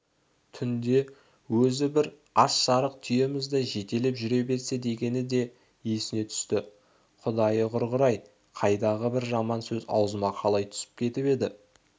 түнде өзі бір аш-арық түйемізді жетелеп жүре берсе дегені де есіне түсті құдайы құрғыр-ай қайдағы бір жаман сөз аузыма қалай түсіп кетіп еді